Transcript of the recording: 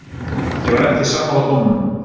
Ég var ekki sammála dómnum.